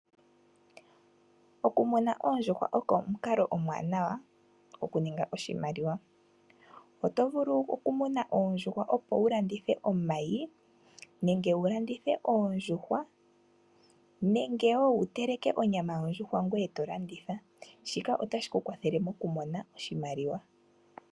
Oku muna oondjuhwa oko omukalo omwaanawa okuninga oshimaliwa. Oto vulu oku muna oondjuhwa, opo wu landithe omayi nenge wu landithe oondjuhwa nenge wu teleke onyama yondjuhwa ngoye to landitha, shika otashi ku kwathele moku mona oshimaliwa.